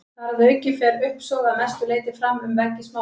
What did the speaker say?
Þar að auki fer uppsog að mestu leyti fram um veggi smáþarma.